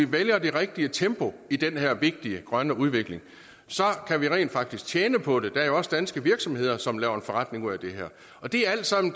vælger det rigtige tempo i den her vigtige grønne udvikling kan vi rent faktisk tjene på det der er jo også danske virksomheder som laver en forretning ud af det her det er alt sammen